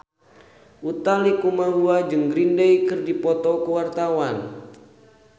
Utha Likumahua jeung Green Day keur dipoto ku wartawan